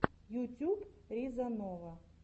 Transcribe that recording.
ютюб риза нова